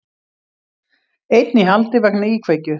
Einn í haldi vegna íkveikju